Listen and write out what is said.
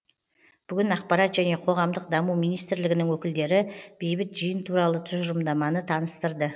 бүгін ақпарат және қоғамдық даму министрлігінің өкілдері бейбіт жиын туралы тұжырымдаманы таныстырды